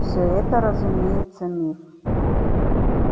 все это разумеется миф